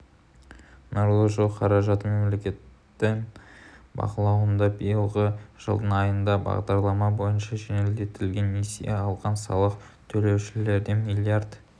нұрлы жол қаражаты мемлекеттің бақылауында биылғы жылдың айында бағдарлама бойынша жеңілдетілген несие алған салық төлеушілерден млрд